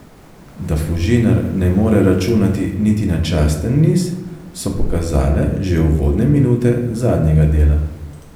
Da Fužinar ne more računati niti na časten niz, so pokazale že uvodne minute zadnjega dela.